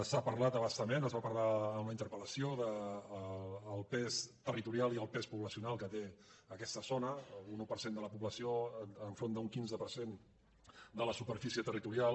s’ha parlat a bastament es va parlar en la interpel·lació del pes territorial i el pes poblacional que té aquesta zona un un per cent de la població davant d’un quinze per cent de la superfície territorial